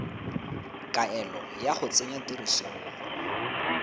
kaelo ya go tsenya tirisong